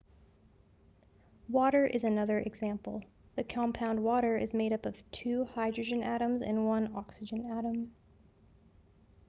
water is another example the compound water is made up of two hydrogen atoms and one oxygen atom